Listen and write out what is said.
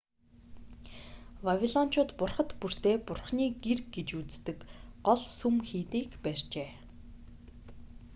вавилончууд бурхад бүртээ бурханы гэр гэж үздэг гол сүм хийдийг барьжээ